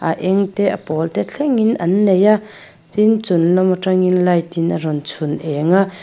a eng te a pawl te thleng in an nei a tin chunglam atangin light in a rawn chhun eng a.